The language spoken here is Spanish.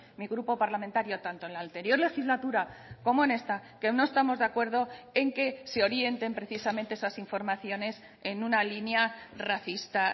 mi grupo parlamentario tanto en la anterior legislatura como en esta que no estamos de acuerdo en que se orienten precisamente esas informaciones en una línea racista